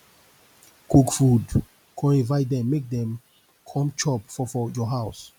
cook food con invite dem mek dem com chop for for yur house